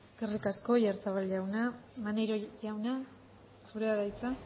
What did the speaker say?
eskerrik asko oyarzabal jauna maneiro jauna zurea da hitza